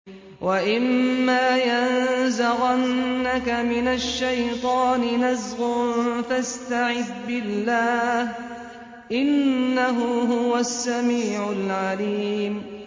وَإِمَّا يَنزَغَنَّكَ مِنَ الشَّيْطَانِ نَزْغٌ فَاسْتَعِذْ بِاللَّهِ ۖ إِنَّهُ هُوَ السَّمِيعُ الْعَلِيمُ